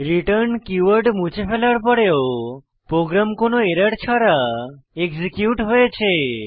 return keyword মুছে ফেলার পড়েও প্রোগ্রাম কোনো এরর ছাড়া এক্সিকিউট হয়েছে